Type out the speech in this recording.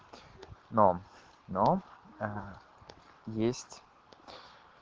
но но есть